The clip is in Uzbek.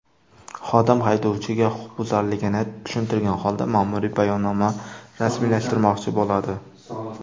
Xodim haydovchiga huquqbuzarligini tushuntirgan holda, ma’muriy bayonnoma rasmiylashtirmoqchi bo‘ladi.